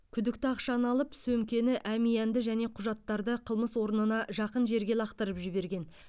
күдікті ақшаны алып сөмкені әмиянды және құжаттарды қылмыс орнына жақын жерге лақтырып жіберген